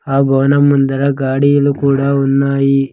ఆ గోణం ముందర గాడీలు కూడా ఉన్నాయి.